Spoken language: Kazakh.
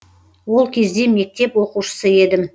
ол кезде мектеп оқушысы едім